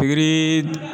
Pikiri